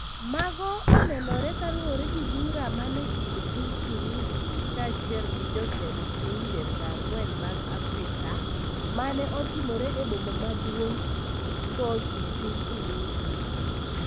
Mago onenore kaluore gi bura mane kind piny Urusi ka achiel gi jotend pinje 40 mag Afrika mane otimore e boma maduong' Sochi piny Urusi.